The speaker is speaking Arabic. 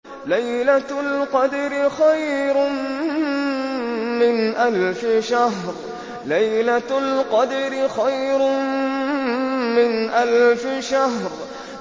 لَيْلَةُ الْقَدْرِ خَيْرٌ مِّنْ أَلْفِ شَهْرٍ